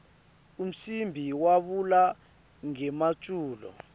umcimbi wavula ngemaculo